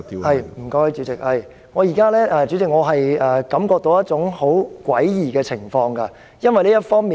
主席，我感覺到現在有一種很詭異的情況，為何詭異呢？